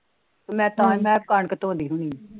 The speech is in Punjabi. ਮੈ ਤਾ ਮੈ ਕਣਕ ਧੋਂਦੀ ਹੋਣੀ।